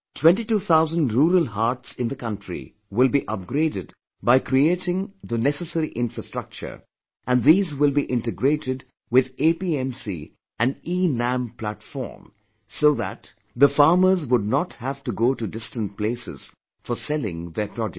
Twenty two thousand rural haats in the country will be upgraded by creating the necessary infrastructure and these will be integrated with APMC and eNAM platform so that the farmers would not have to go to distant places for selling their produce